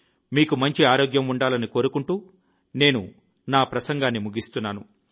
మీకు మంచి ఆరోగ్యం ఉండాలని కోరుకుంటూ నేను నా ప్రసంగాన్ని ముగిస్తున్నాను